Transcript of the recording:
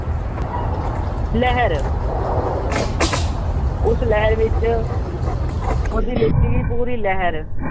ਲਹਿਰ ਉਸ ਲਹਿਰ ਵਿੱਚ ਉਹਦੀ ਲਿੱਤੀ ਗਈ ਪੂਰੀ ਲਹਿਰ